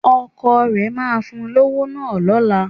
Ọkọ rẹ máa fún un lówó náà lọ́la